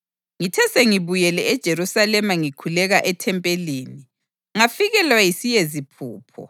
Ngithe sengibuyile eJerusalema ngikhuleka ethempelini, ngafikelwa yisiyeziphupho,